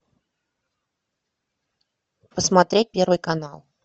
посмотреть первый канал